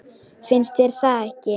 Finnst þér það ekki?